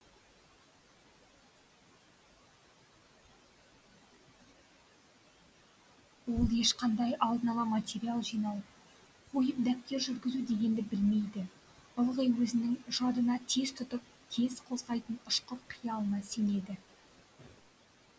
ол ешқандай алдын ала материал жинау қойып дәптер жүргізу дегенді білмейді ылғи өзінің жадына тез тұтып тез қоздайтын ұшқыр қиялына сенеді